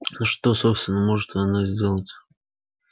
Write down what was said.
но что собственно может она сделать